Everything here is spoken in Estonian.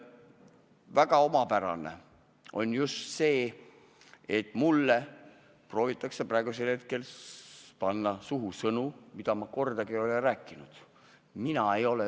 Väga omapärane on just see, et mulle proovitakse praegu panna suhu sõnu, mida ma kordagi rääkinud ei ole.